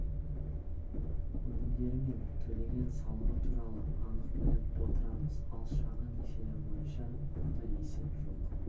өнімдері мен төлеген салығы туралы анық біліп отырамыз ал шағын несиелер бойынша мұндай есеп жоқ